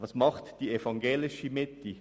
Was tut die evangelische Mitte?